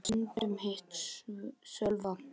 Þar hafði ég stundum hitt Sölva.